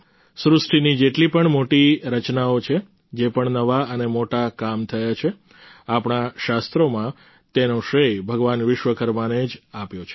સૃષ્ટિની જેટલી પણ મોટી રચનાઓ છે જે પણ નવા અને મોટા કામ થયા છે આપણા શાસ્ત્રોમાં તેનો શ્રેય ભગવાન વિશ્વકર્માને જ આપ્યો છે